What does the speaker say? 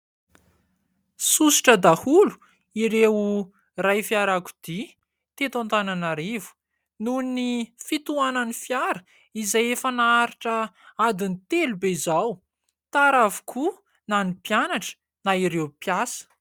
Sosotra daholo ireo iray fiara-kodia teto Antananarivo nohon'ny fitohanan'ny fiara izay efa naharitra adin'ny telo be izao, tara avokoa na ny mpianatra na ireo mpiasa.